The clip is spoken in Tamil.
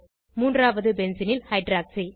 மூன்றாவது பென்சீனில் ஹைட்ராக்ஸி